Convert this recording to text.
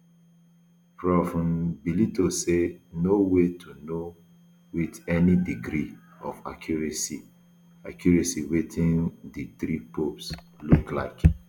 prof um bellitto say no way to know wit any degree of accuracy accuracy wetin um di three popes look like